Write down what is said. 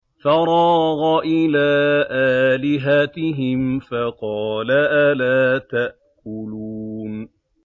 فَرَاغَ إِلَىٰ آلِهَتِهِمْ فَقَالَ أَلَا تَأْكُلُونَ